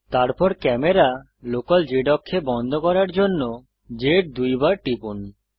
তারপর camera local z অক্ষে বন্ধ করার জন্য z দুইবার টিপুন